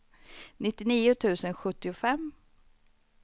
nittionio tusen sjuttiofem